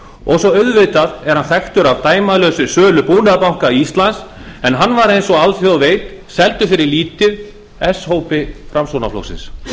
og svo auðvitað er hann þekktur að dæmalausri sölu búnaðarbanka íslands en hann var eins og alþjóð veit seldur fyrir lítið s hópi framsóknarflokksins